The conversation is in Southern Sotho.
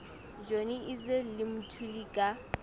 johnny issel le mthuli ka